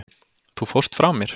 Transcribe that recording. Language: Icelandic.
Þú fórst frá mér.